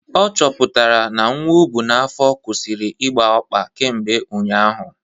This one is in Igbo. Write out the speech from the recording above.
Ọ chọpụtara n'nwa ọbụ n'afọ kwusịrị ịgba ọkpa kemgbe ụnyaahụ